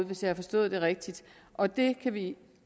hvis jeg har forstået det rigtigt og det kan vi